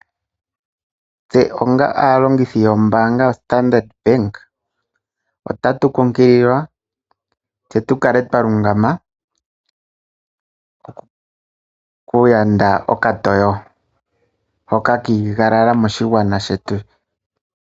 Tse onga aalongithi yombaanga yoStandard ota tu kumagidhwa tse tu kale twa lungama opo tu yande okatoyo hoka ka igalala moshigwana shetu.